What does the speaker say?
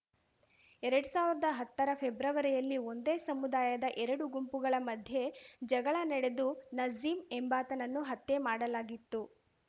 ಎರಡ್ ಸಾವ್ರ್ದ ಹತ್ತರ ಫೆಬ್ರವರಿಯಲ್ಲಿ ಒಂದೇ ಸಮುದಾಯದ ಎರಡು ಗುಂಪುಗಳ ಮಧ್ಯೆ ಜಗಳ ನಡೆದು ನಸೀಮ್‌ ಎಂಬಾತನನ್ನು ಹತ್ಯೆ ಮಾಡಲಾಗಿತ್ತು